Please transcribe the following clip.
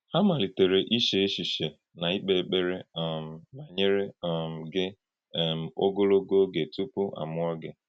Hà malítèrè íchè èchìché na íkpè èkpèrè um banyere um gị um ogologo oge tupu àmúọ́ gị.